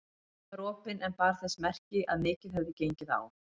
Hurðin var opin en bar þess merki að mikið hefði gengið á.